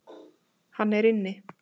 Hann er inni.